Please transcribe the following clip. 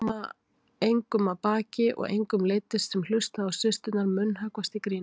Femínismi er hugsjón um það samfélagslega réttlæti sem felst í jafnrétti kynjanna.